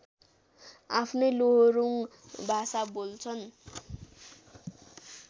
आफ्नै लोहोरुङ भाषा बोल्छन्